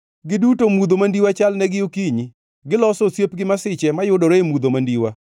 Giduto mudho mandiwa chalnegi okinyi; giloso osiep gi masiche mayudore e mudho mandiwa.